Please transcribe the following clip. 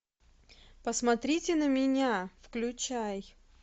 посмотрите на меня включай